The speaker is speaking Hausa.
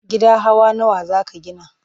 Gida hawa nawa za ka gina?